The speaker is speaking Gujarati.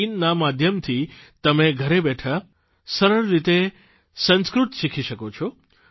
in ના માધ્યમથી તમે ઘરે બેઠાં સરળ રીતે સંસ્કૃત શીખી શકો છો